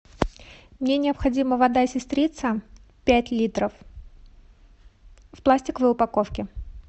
мне необходима вода сестрица пять литров в пластиковой упаковке